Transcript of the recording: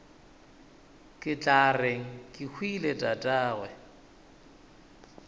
ke tla reng kehwile tatagwe